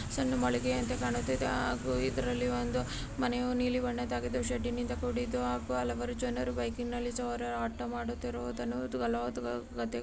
ಸಣ್ಣ ಮಳಿಗೆಯಂತೆ ಕಾಣುತ್ತಿದೆ ಹಾಗು ಇದರಲ್ಲಿ ಒಂದು ಮನೆಯು ನೀಲಿಬಣ್ಣದಾಗಿದೆ ಶೆಡ್ ನಿಂದ ಕೂಡಿದ್ದು ಹಾಗು ಹಲವಾರು ಜನರು ಬೈಕಿ ನಲ್ಲಿ ಸವಾರರು ಆಟೋ ಮಾಡುತ್ತಿರುವುದನ್ನು ಮತ್ತು ಫಲವತ್ತಾದ ಗದ್ದೆಗಳನ--